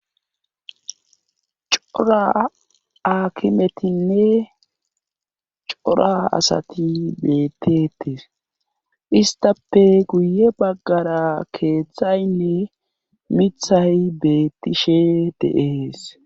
cora aakimetinne cora asati beettetes istape guye baggara keeththaynne mithay beettishe deees